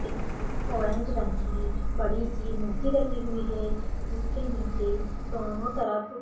एक ऑरेंज रंग की बड़ी सी मूर्ति रखी हुई है जिसके नीचे दोनों तरफ --